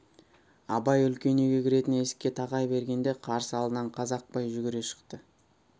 абай үлкен үйге кіретін есікке тақай бергенде қарсы алдынан қазақпай жүгіре шықты